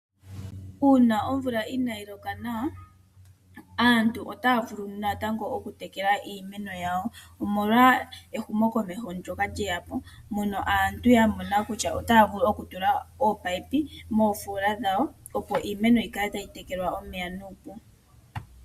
Uuna omvula inaayi loka nawa, aantu otaya vulu natango okutekela iimeno yawo, omolwa ehumo komeho lyoka lye ya po mono aantu ya mona kutya, otaya vulu okutula oomininomoofoola dhawo, opo iimeno yikale tayi tekelwa omeya nuupu.